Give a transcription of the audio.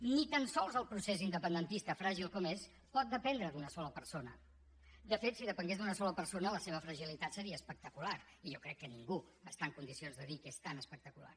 ni tan sols el procés independentista fràgil com és pot dependre d’una sola persona de fet si depengués d’una sola persona la seva fragilitat seria espectacular i jo crec que ningú està en condicions de dir que és tan espectacular